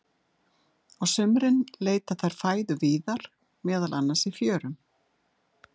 Á sumrin leita þær fæðu víðar, meðal annars í fjörum.